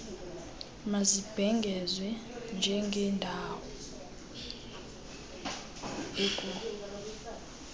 mazibhengezwe njengeendawo ekungatshaywa